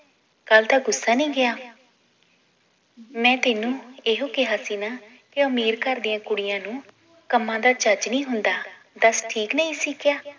ਕੱਲ ਦਾ ਗੁੱਸਾ ਨਈ ਗਿਆ ਮੈ ਤੈਨੂੰ ਏਹੁ ਕਿਹਾ ਸੀ ਨਾ ਕਿ ਅਮੀਰ ਘਰ ਦੀਆਂ ਕੁੜੀਆਂ ਨੂੰ ਕੰਮਾਂ ਦਾ ਚੱਜ ਨਈ ਹੁੰਦਾ ਦੱਸ ਠੀਕ ਨਈ ਸੀ ਕਿਹਾ